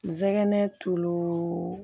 N sɛgɛn tulu